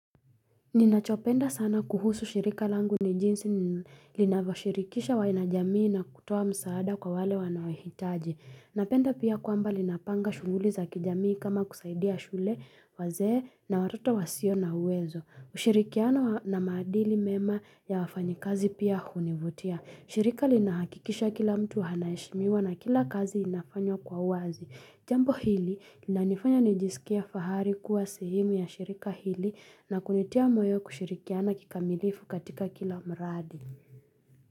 Ninachopenda sana kuhusu shirika langu ni jinsi linavyo shirikisha wana jamii na kutowa msaada kwa wale wanaohitaji. Napenda pia kwamba linapanga shughuli za kijamii kama kusaidia shule wazee na watoto wasio na uwezo. Ushirikiano na maadili mema ya wafanyikazi pia hunivutia. Shirika linahakikisha kila mtu hanaheshimiwa na kila kazi inafanywa kwa wazi. Jambo hili linanifanya nijisikie fahari kuwa sehemu ya shirika hili na kunitia moyo kushirikiana kikamilifu katika kila mradi.